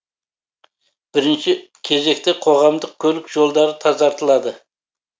бірінші кезекте қоғамдық көлік жолдары тазартылады